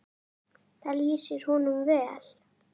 Það lýsir honum vel.